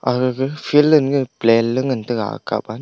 agaga field ae plan ley ngan taega akap ah.